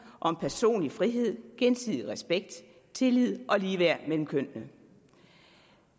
personlig frihed gensidig respekt tillid og ligeværd mellem kønnene